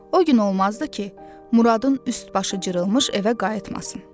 O gün olmazdı ki, Muradın üst-başı cırılmış evə qayıtmasın.